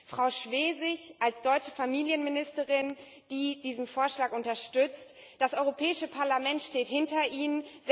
An Frau Schwesig als deutsche Familienministerin, die diesen Vorschlag unterstützt Das Europäische Parlament steht hinter Ihnen!